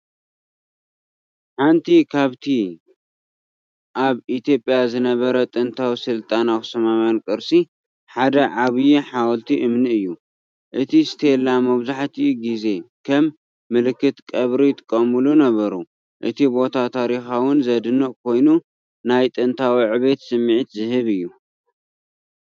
ሓደ ካብቲ ኣብ ኢትዮጵያ ዝነበረ ጥንታዊ ስልጣነ ኣኽሱማዊ ቅርሲ ሓደ ዓቢይ ሓወልቲ እምኒ እዩ። እቲ ስቴላ መብዛሕትኡ ግዜ ከም ምልክት ቀብሪ ይጥቀሙሉ ነበሩ። እቲ ቦታ ታሪኻውን ዝድነቕን ኮይኑ፡ ናይ ጥንታዊ ዕቤት ስምዒት ዝህብ እዩ፡፡